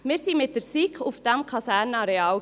Wir waren mit der SiK auf diesem Kasernenareal: